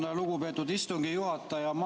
Tänan, lugupeetud istungi juhataja!